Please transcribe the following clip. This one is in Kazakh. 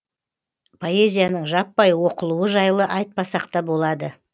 поэзияның жаппай оқылуы жайлы айтпасақ та болады